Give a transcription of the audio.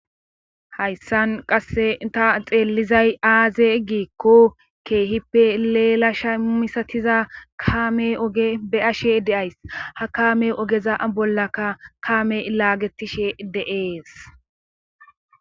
Hayssan qasse inta xeellizay aaze gikko keehippe leelasha misatiza kaame oge be'ashe deays ha kaame ogeza bollaka kaame ilaagetishe de'ees